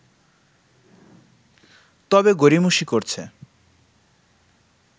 তবে গড়িমসি করছে